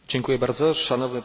Panie Przewodniczący!